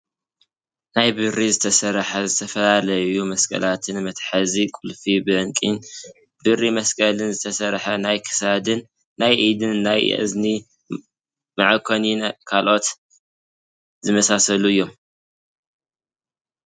ናይ ብብሪ ዝተሰርሐ ዝተፈላለዩ መስቀላትን መትሓዚ ቁልፊ ብዕንቂን ብሪ መስቀልን ዝተሰርሐ ናይ ክሳድን ናይ ኢድን ናይ እዝኒ መዐኮኒን ካልኦት ዝመሳሰሉ እዮም።